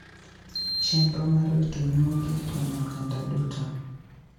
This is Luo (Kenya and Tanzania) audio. Chenro mar rito nyuogi konyo oganda duto.